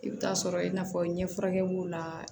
I bɛ taa sɔrɔ i n'a fɔ ɲɛfurakɛ b'o la